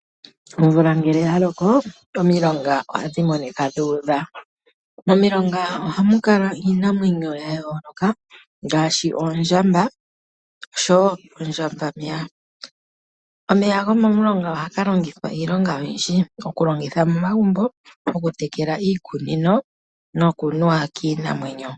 Omvula ngele yaloko omilonga ohadhi udha. Momilonga ohamu kala iinamwenyo yayooloka ngaashi oondjamba meya. Omeya gomomulonga ohaga longithwa iilonga oyindji ngaashi okulongithwa momagumbo, okutekela iikunino noku nuwa kiinamwenyo.